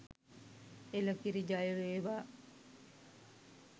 එළකිරි ජයවේවා!